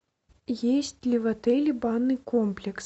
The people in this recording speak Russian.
есть ли в отеле банный комплекс